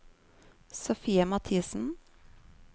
Sofie Mathisen